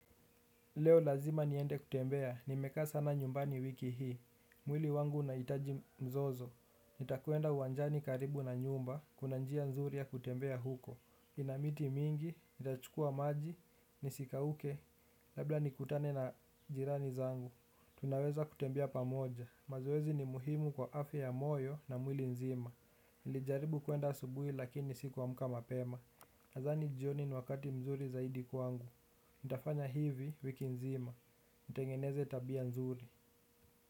Leo lazima niende kutembea, nimekaa sana nyumbani wiki hii. Mwili wangu unahitaji mzozo. Nitakwenda uwanjani karibu na nyumba, kuna njia nzuri ya kutembea huko. Ina miti mingi, nitachukua maji, nisikauke, labda nikutane na jirani zangu. Tunaweza kutembea pamoja, mazoezi ni muhimu kwa afya ya moyo na mwili nzima. Nilijaribu kuenda asubuhi lakini sikuamka mapema. Nadhani jioni ni wakati mzuri zaidi kwangu. Nitafanya hivi wiki nzima, nitengeneze tabia nzuri.